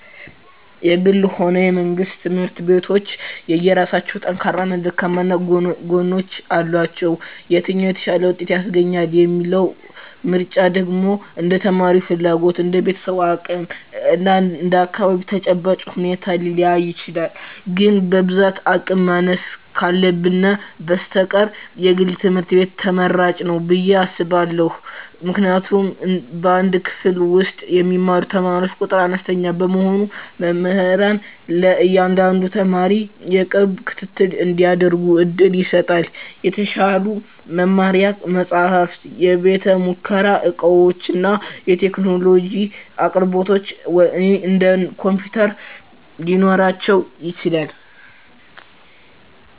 የግልም ሆነ የመንግሥት ትምህርት ቤቶች የየራሳቸው ጠንካራና ደካማ ጎኖች አሏቸው። የትኛው "የተሻለ ውጤት" ያስገኛል የሚለው ምርጫ ደግሞ እንደ ተማሪው ፍላጎት፣ እንደ ቤተሰቡ አቅም እና እንደ አካባቢው ተጨባጭ ሁኔታ ሊለያይ ይችላል። ግን በብዛት የአቅም ማነስ ካልህነ በስተቀር የግል ትምህርት ቤት ትመራጭ ንው ብየ አስባእሁ። ምክንያቱም በአንድ ክፍል ውስጥ የሚማሩ ተማሪዎች ቁጥር አነስተኛ በመሆኑ መምህራን ለእያንዳንዱ ተማሪ የቅርብ ክትትል እንዲያደርጉ ዕድል ይሰጣል። የተሻሉ የመማሪያ መጻሕፍት፣ የቤተ-ሙከራ ዕቃዎችና የቴክኖሎጂ አቅርቦቶች (እንደ ኮምፒውተር) ሊኖራቸው ይችላል።